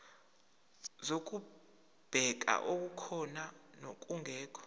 zokubheka okukhona nokungekho